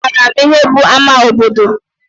Eé, amaara m ihe bụ ama obodo.